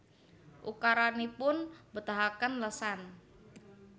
Ukaranipun mbetahaken lesan